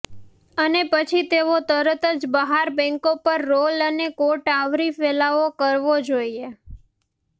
અને પછી તેઓ તરત જ બહાર બેન્કો પર રોલ અને કોટ આવરી ફેલાવો કરવો જોઇએ